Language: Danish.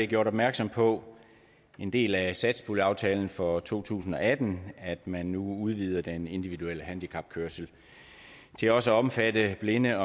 gjort opmærksom på en del af satspuljeaftalen for to tusind og atten at man nu udvider den individuelle handicapkørsel til også at omfatte blinde